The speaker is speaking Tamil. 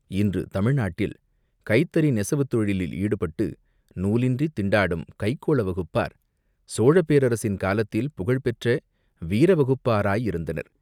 இன்று தமிழ் நாட்டில் கைத்தறி நெசவுத் தொழிலில் ஈடுபட்டு நூலின்றித் திண்டாடும் கைக்கோள வகுப்பார் சோழப் பேரரசின் காலத்தில் புகழ்பெற்ற வீர வகுப்பாராயிருந்தனர்.